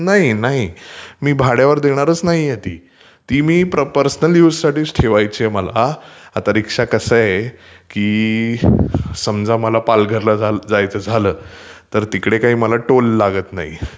नाही नाही , मी भाड्यावर देणारटं नाहीये ती. ती मी पर्सनल युजसाठी ठेवायची मला. आता रीक्षा म्हटलं की कसं आहे की समजा मला पालघरला जायच झालं तर तिकडे काही मला टोल लागतं नाही,